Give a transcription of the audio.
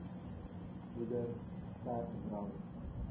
moeder sterk drank